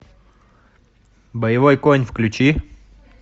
боевой конь включи